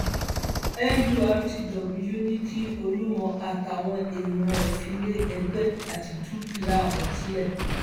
nurtw ní kí olúmọ àtàwọn èèyàn ẹ filé ẹgbẹ àti dúkìá àwọn sílẹ